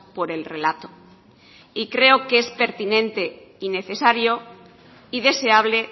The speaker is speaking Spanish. por el relato y creo que es pertinente y necesario y deseable